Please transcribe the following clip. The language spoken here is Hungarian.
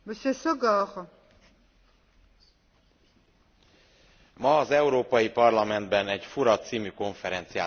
Ma az Európai Parlamentben egy fura című konferenciát szerveztek az úgynevezett Magyar Szovjet Köztársaság leveréséről.